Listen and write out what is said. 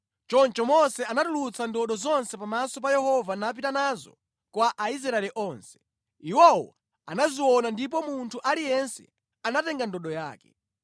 Choncho Mose anatulutsa ndodo zonse pamaso pa Yehova napita nazo kwa Aisraeli onse. Iwowo anaziona ndipo munthu aliyense anatenga ndodo yake.